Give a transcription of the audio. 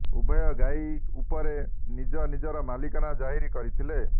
ଉଭୟ ଗାଈ ଉପରେ ନିଜ ନିଜର ମାଲିକାନା ଜାହିର୍ କରିଥିଲେ